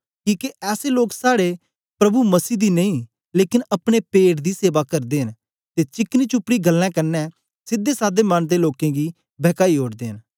किके ऐसे लोक साड़े प्रभु मसीह दी नेई लेकन अपने पेट दी सेवा करदे न ते चिकनी चुपड़ी गल्लें कन्ने सीधेसाधे मन दे लोकें गी बहकाई ओडदे न